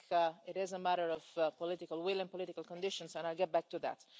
I think it is a matter of political will and political conditions, and I'll get back to that.